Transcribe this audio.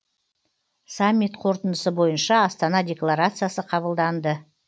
саммит қорытындысы бойынша астана декларациясы қабылданды